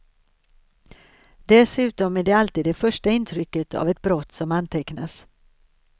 Dessutom är det alltid det första intrycket av ett brott som antecknas.